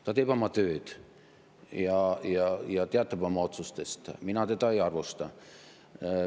Ta teeb oma tööd ja teatab oma otsustest, mina teda ei arvusta.